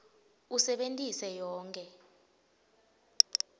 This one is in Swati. usebentise yonkhe